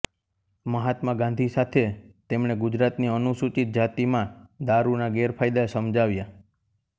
મહાત્મા ગાંધી સાથે તેમણે ગુજરાતની અનુસુચિત જાતિમાં દારૂના ગેરફાયદા સમજાવ્યા